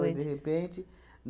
Foi de repente.